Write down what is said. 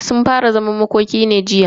Sun fara zaman makoki ne tun jiya.